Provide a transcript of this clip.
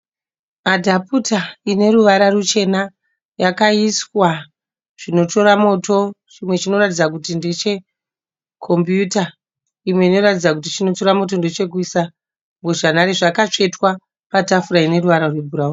Adhaputa ine ruvara ruchena. Yakaiswa zvinotora moto, chimwe chinoratidza kuti ndeche kombiyuta imwe inoratidza kuti chinotora mwoto ndechekuisa mbozhanhare. Zvakatsvetwa patafura ine ruvara rwebhurauni.